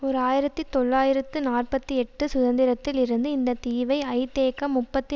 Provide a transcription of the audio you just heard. ஓர் ஆயிரத்தி தொள்ளாயிரத்து நாற்பத்தி எட்டு சுதந்திரத்தில் இருந்து இந்த தீவை ஐதேக முப்பத்தி